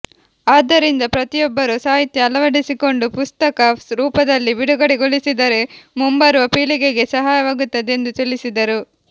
ಆದ್ದರಿಂದ ಪ್ರತಿಯೊಬ್ಬರೂ ಸಾಹಿತ್ಯ ಅಳವಡಿಸಿಕೊಂಡು ಪುಸ್ತಕ ರೂಪದಲ್ಲಿ ಬಿಡುಗಡೆಗೊಳಿಸಿದರೆ ಮುಂಬರುವ ಪೀಳಿಗೆಗೆ ಸಹಾಯಕವಾಗುತ್ತದೆ ಎಂದು ತಿಳಿಸಿದರು